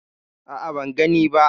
A'a, ban gani ba.